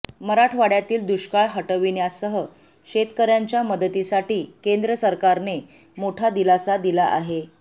मराठवाड्यातील दुष्काळ हटविण्यासह शेतकऱ्यांच्या मदतीसाठी केंद्र सरकारने मोठा दिलासा दिला आहे